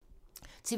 TV 2